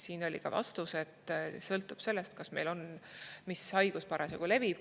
Siin oli vastus, et sõltub sellest, mis haigus parasjagu levib.